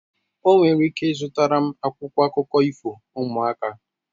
O nwere ike zụtara m akwụkwọ akụkọ ifo ụmụaka